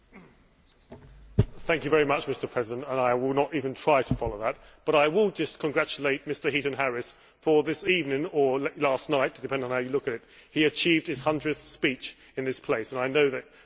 Mr President, I will not even try to follow that, but will just congratulate Mr Heaton Harris as this evening or last night depending on how you look at it he achieved his 100th speech in this place, and I know that you for one are grateful for that.